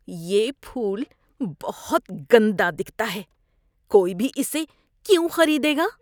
یہ پھول بہت گندا دکھتا ہے۔ کوئی بھی اسے کیوں خریدے گا؟